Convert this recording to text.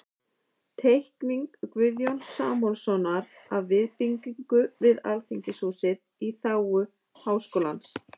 Teikning Guðjóns Samúelssonar af viðbyggingu við Alþingishúsið í þágu Háskólans.